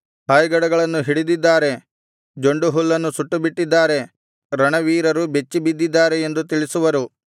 ಹಾಯ್ಗಡಗಳನ್ನು ಹಿಡಿದಿದ್ದಾರೆ ಜೊಂಡು ಹುಲ್ಲನ್ನು ಸುಟ್ಟುಬಿಟ್ಟಿದ್ದಾರೆ ರಣವೀರರು ಬೆಚ್ಚಿಬಿದ್ದಿದ್ದಾರೆ ಎಂದು ತಿಳಿಸುವರು